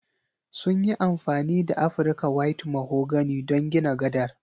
Sun yi amfani da Afrika white mahogany don gina gadar